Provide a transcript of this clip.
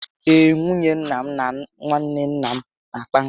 Ee, nwunye nna m na nwanne nna m na akpa nkata